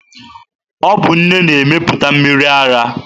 Ọ bụ nne na-emepụta mmiri ara.